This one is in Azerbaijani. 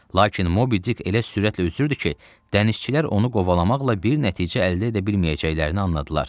Lakin Mobi Dik elə sürətlə üzürdü ki, dənizçilər onu qovalamaqla bir nəticə əldə edə bilməyəcəklərini anladılar.